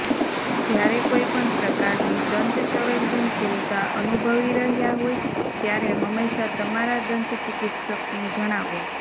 જ્યારે કોઇ પણ પ્રકારની દંત સંવેદનશીલતા અનુભવી રહ્યા હોય ત્યારે હંમેશા તમારા દંત ચિકિત્સકને જણાવો